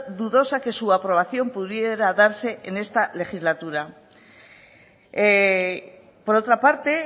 dudosa que su aprobación pudiera darse en esta legislatura por otra parte